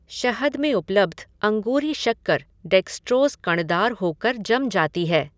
शहद में उपलब्ध अंगूरी शक्कर डेक्सट्रोज़ कणदार होकर जम जाती है।